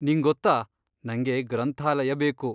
ನಿಂಗೊತ್ತಾ, ನಂಗೆ ಗ್ರಂಥಾಲಯ ಬೇಕು.